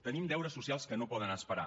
tenim deures socials que no poden esperar